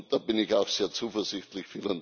Da bin ich auch sehr zuversichtlich.